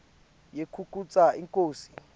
yekukhetsa inkosi